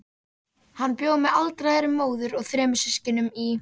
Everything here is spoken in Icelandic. Hann bjó með aldraðri móður og þremur systkinum í